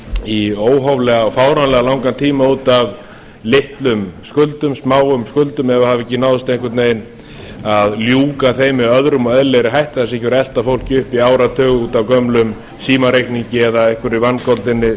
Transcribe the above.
í óhóflega fáránlega langan tíma út af litlum skuldum smáum skuldum ef það hefur ekki náðst einhvern vegna að ljúka þeim með öðrum og eðlilegum hætti það sé ekki verið að elta fólk uppi í áratug út af gömlum símareikningi eða einhverri vangoldinni